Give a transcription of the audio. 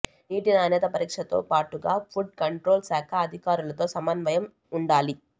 నీటి నాణ్యత పరీక్షతో పాటుగా ఫుడ్ కంట్రోల్ శాఖ అధికారులతో సమన్వయం ఉండాలి